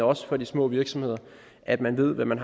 også for de små virksomheder at man ved hvad man